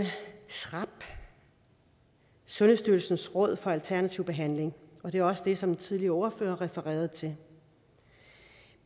srab sundhedsstyrelsens råd for alternativ behandling og det er også det som den tidligere ordfører refererede til